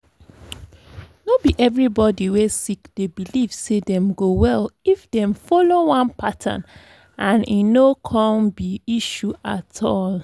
no be everybody wey sick dey believe say them go well if them follow one pattern and e no um be issue at all.